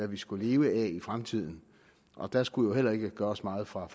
vi skulle leve af i fremtiden og der skulle jo heller ikke gøres meget fra